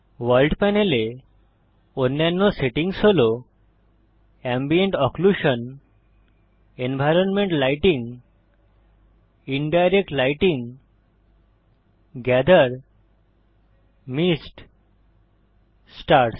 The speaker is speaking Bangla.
ভোর্ল্ড পানেল এ অন্যান্য সেটিংস হল ambient occlusion environment lighting indirect lighting gather mist stars